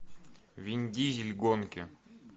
вин дизель гонки